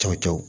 Cɔcɔ